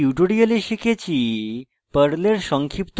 in tutorial শিখেছি: